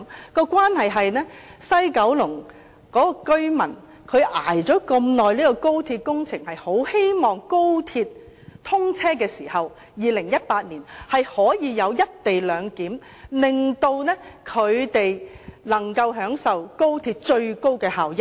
當中的關係是，西九龍居民長期忍受高鐵工程施工的影響，是非常希望高鐵2018年通車時，可實行"一地兩檢"，令他們能夠享受高鐵最高效益。